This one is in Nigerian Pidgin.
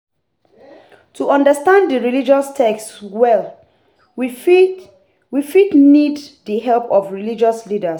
To understand di religious text well we fit we fit need di help of religious leaders